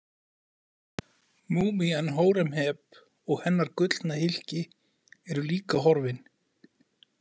Múmían Hóremheb og hennar gullna hylki eru líka horfin.